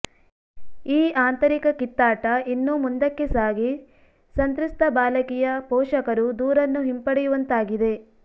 ಈ ಆಂತರಿಕ ಕಿತ್ತಾಟ ಇನ್ನೂ ಮುಂದಕ್ಕೆ ಸಾಗಿ ಸಂತ್ರಸ್ತ ಬಾಲಕಿಯ ಪೋಷಕರು ದೂರನ್ನು ಹಿಂಪಡೆಯುವಂತಾಗಿದೆ